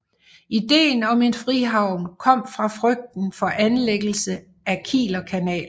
Idéen om en frihavn kom fra frygten for anlæggelsen af Kielerkanalen